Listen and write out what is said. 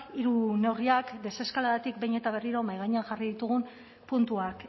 hiru neurriak deseskaladatik behin eta berriro mahai gainean jarri ditugun puntuak